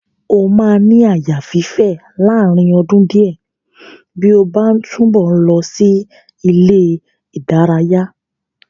O máa ní àyà fífè láàárín ọdún díẹ̀ bí ó bá ń túbọ̀ ń lọ sí ilé-ìdaraya.